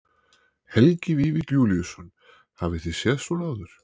Helgi Vífill Júlíusson: Hafið þið séð svona áður?